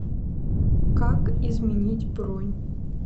как изменить бронь